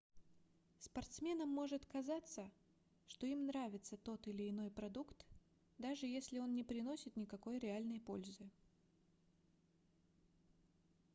спортсменам может казаться что им нравится тот или иной продукт даже если он не приносит никакой реальной пользы